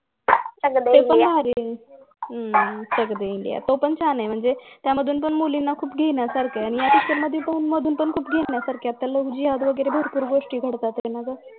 हम्म चक दे इंडिया तो पण छान आहे म्हणजे त्यामधून पण मुलीना खूप घेण्यासारखं आहे त्यामध्ये पण खूप घेण्यासारखं आहे LOVE जिहाद वगैरे भरपूर गोष्टी घडतात त्यांनत